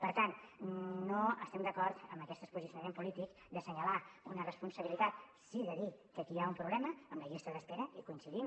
per tant no estem d’acord amb aquest posicionament polític d’assenyalar una responsabilitat sí de dir que aquí hi ha un problema amb la llista d’espera hi coincidim